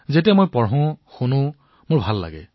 যেতিয়া মই পঢ়ো শুনো তেতিয়া মোৰ ভাল লাগে